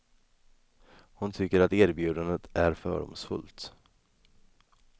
Hon tycker att erbjudandet är fördomsfullt.